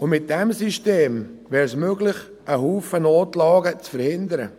Mit diesem System wäre es möglich, zahlreiche Notlagen zu verhindern.